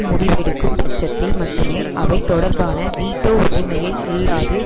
முடிவெடுக்கும் பட்சத்தில் மட்டுமே அவை தொடர்பான வீட்டோ உரிமையை இல்லாது